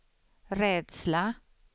rädsla